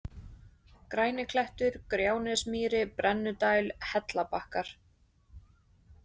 Græniklettur, Gjánesmýri, Brennudæl, Hellabakkar